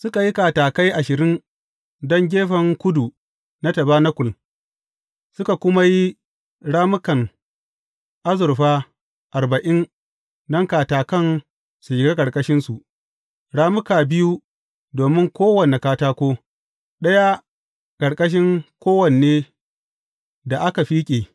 Suka yi katakai ashirin don gefen kudu na tabanakul suka kuma yi rammukan azurfa arba’in don katakan su shiga ƙarƙashinsu, rammuka biyu domin kowane katako, ɗaya ƙarƙashin kowanne da aka fiƙe.